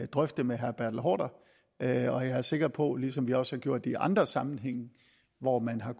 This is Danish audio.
drøfte med herre bertel haarder og jeg er sikker på ligesom vi også har gjort det i andre sammenhænge hvor man har